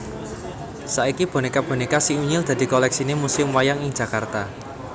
Saiki bonéka bonéka Si Unyil dadi kolèksiné Museum Wayang ing Jakarta